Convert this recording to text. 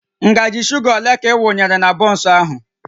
Ngaji shuga ole ka ị wunyere na bọnsụ ahụ?